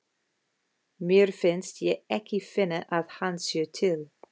Mér finnst ég ekki finna að hann sé til.